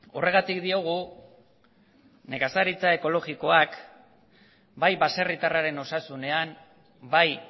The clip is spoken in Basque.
horregatik diogu nekazaritza ekologikoak bai baserritarraren osasunean bai